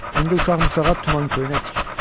İndi uşaq-muşaq tuman-köynək tikir.